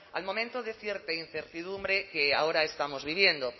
al momento de cierta incertidumbre que ahora estamos viviendo